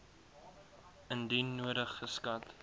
indien nodig geskat